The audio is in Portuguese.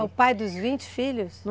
É o pai dos vinte filhos?